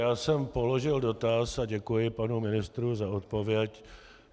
Já jsem položil dotaz a děkuji panu ministru za odpověď.